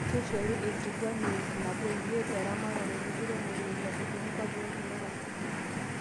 Keishoru e nkiguena e ip nabo o imiet eramatare e ekiremore eilepu too nkwapi olkila orok.